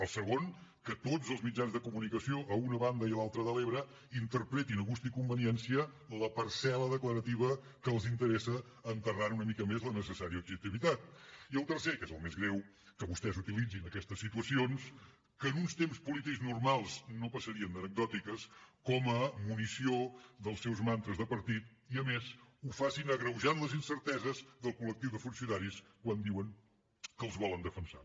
el segon que tots els mitjans de comunicació a una banda i l’altra de l’ebre interpretin a gust i conveniència la parcel·la declarativa que els interessa enterrant una mica més la necessària objectivitat i el tercer que és el més greu que vostès utilitzin aquestes situacions que en uns temps polítics normals no passarien d’anecdòtiques com a munició dels seus mantres de partit i a més ho facin agreujant les incerteses del col·lectiu de funcionaris quan diuen que els volen defensar